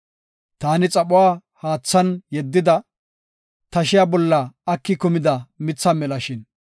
Taani xaphuwa haathan yeddida, tashiya bolla aki kumida mitha melashin!